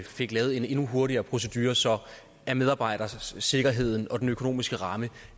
fik lavet en endnu hurtigere procedure så medarbejdersikkerheden og den økonomiske ramme